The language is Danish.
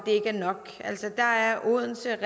ikke er nok altså der er odense